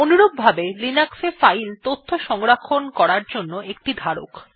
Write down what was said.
অনুরূপভাবে লিনাক্স এ ফাইল তথ্য সংরক্ষণ করার জন্য একটি ধারক